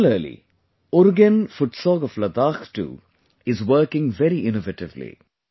Similarly, Urugen Futsog of Ladakh too is working very innovatively